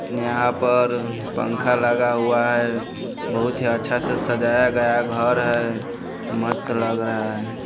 यहाँ पर पंखा लगा हुआ है बहुत ही अच्छा से सजाया गया घर है मस्त लग रहा है।